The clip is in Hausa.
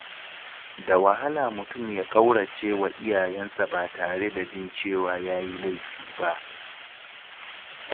Da wahala mutum ya ƙaurace wa iyayensa ba tare da jin cewa ya yi laifi ba.